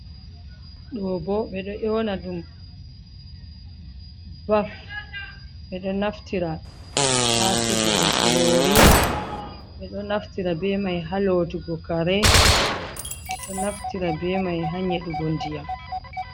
Ɗo ɓo ɓe ɗo nyona ɗum baf. Ɓe ɗo naftira ha sigugo kurori, ɓe ɗo naftira ɓe mai ha lotugo kare, ɓe ɗo naftira ɓe mai ha nyeɗugo nɗiyam.